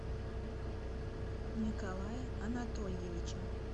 николая анатольевича